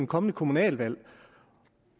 kommende kommunalvalg